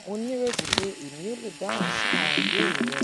mo nireti pe emi o le dahun si awọn ibeere rẹ